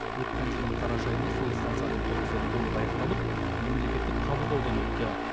өткен жылдың қараша айында сол станцияның құрылысы толық аяқталып мемлекеттік қабылдаудан өтті